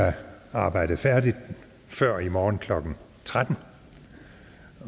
arbejde færdigt før i morgen klokken tretten